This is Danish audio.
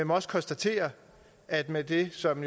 må også konstatere at med det som